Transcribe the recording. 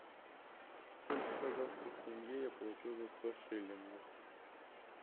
сколько казахских тенге я получу за сто шиллингов